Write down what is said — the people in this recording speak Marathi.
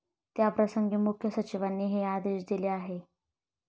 त्याप्रसंगी मुख्य सचिवांनी हे आदेश दिले आहे.